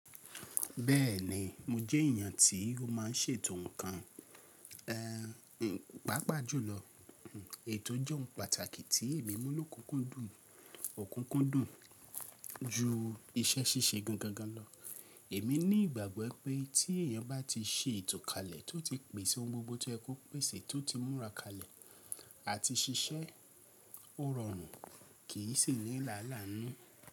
Bẹ́ẹ̀ni, mo jẹ́ èèyàn tí ó má ń ṣètò nǹkan, eh, pàápàá jùlọ ètò jé ohun pàtàkì tí èmi mú lòkúkúndùn, òkúkúndùn ju iṣẹ́ ṣíṣe gan gangan lọ. Èmi ní ìgbàgbọ́ pé tí èèyàn bá ti ṣe ètò kalẹ̀, tó ti pèsè ohun gbogbo tí o ye ko pèsè, tó ti múra kalẹ̀ àti ṣiṣẹ́, ó rọrùn, kì í sì ní làálàá nínú.